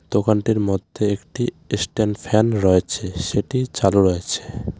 দোকানটির মধ্যে একটি এসস্ট্যান্ড ফ্যান রয়েছে সেটি চালু রয়েছে.